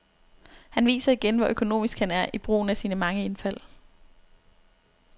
Han viser igen, hvor økonomisk han er i brugen af sine mange indfald.